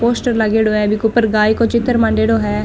पोस्टर लागेदो है जेके ऊपर गाये को चित्र मांडेडो है।